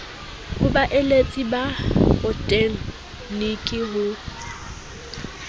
ho baeletsi ba botegniki ho